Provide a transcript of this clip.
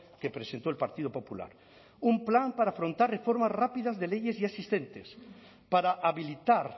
que presentó el partido popular un plan para afrontar reformas rápidas de leyes y asistentes para habilitar